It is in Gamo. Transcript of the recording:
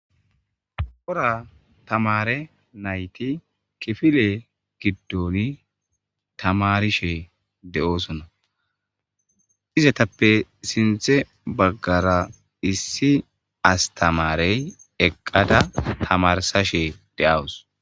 Cora tamare nayti kifile giddooni tamarishe de'oosonna izetappe sinthze baggara issi astamarey eqqada tamarsashe de'awus.